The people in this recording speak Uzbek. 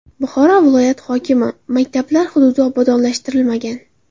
Buxoro viloyati hokimi: Maktablar hududi obodonlashtirilmagan.